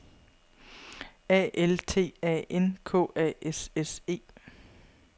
A L T A N K A S S E